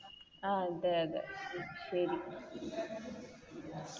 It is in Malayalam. അതെ അതെ ശരി